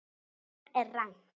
Þetta er rangt.